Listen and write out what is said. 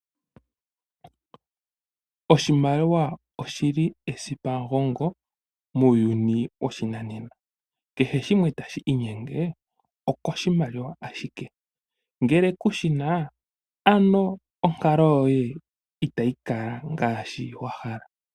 Oshimaliwa oshi li esipa mugongo muuyuni woshinanena. Kehe shimwe tashi iinyenge okoshimaliwa ashike. Ngele kushi na ano onkalo yoye itayi kala ngaashi wa hala.